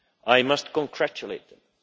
I must congratulate them.